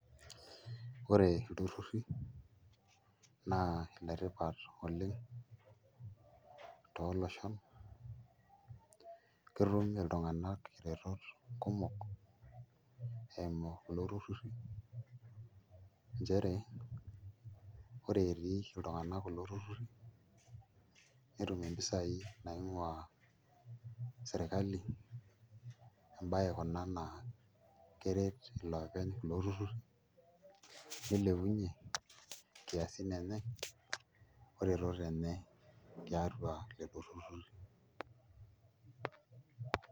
Ore ilturruri naa iletipata oleng' tooloshon ketum iltung'anak iretot kumok eimu kulo turruri nchere ore etii iltung'anak kulo turruri netum mpisaai naing'uaa sirkali emabye kuna naa keret iloopeny kulo turruri nilepunyie nkiasin enye oretoto enye tiatua lelo turruri.